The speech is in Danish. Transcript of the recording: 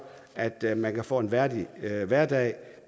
at man kan få en værdig hverdag